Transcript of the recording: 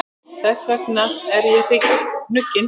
Þess vegna er ég hnugginn.